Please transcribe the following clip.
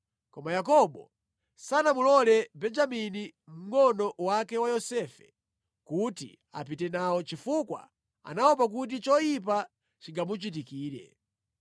Koma Yakobo sanamulole Benjamini mngʼono wake wa Yosefe kuti apite nawo chifukwa anaopa kuti choyipa chingamuchitikire.